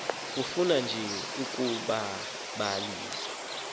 ifuna nje ukubalalisa